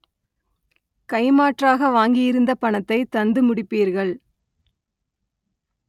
கைமாற்றாக வாங்கியிருந்த பணத்தை தந்து முடிப்பீர்கள்